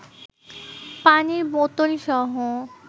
পানির বোতলসহ